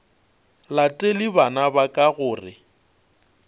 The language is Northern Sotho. latele bana ba ka gore